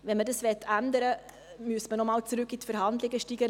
Wenn man es ändern möchte, müsste man noch einmal in die Verhandlungen steigen.